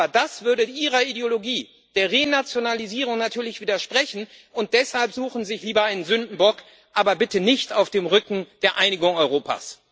Aber das würde Ihrer Ideologie der Renationalisierung natürlich widersprechen, und deshalb suchen Sie sich lieber einen Sündenbock aber bitte nicht auf dem Rücken der Einigung Europas!